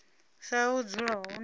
sa ha u dzula hone